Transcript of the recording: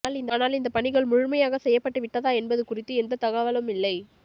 ஆனால் இந்த பணிகள் முழுமையாக செய்யப்பட்டுவிட்டதா என்பது குறித்து எந்த தகவலும் இல்லை